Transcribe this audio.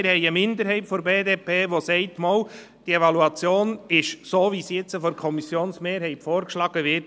Wir haben eine Minderheit der BDP, die sagt: «Ja, diese Evaluation ist so in Ordnung, wie sie jetzt von der Kommissionsmehrheit vorgeschlagen wird.